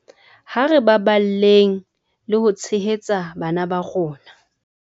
Ha re baballeng le ho tshehetsa bana ba rona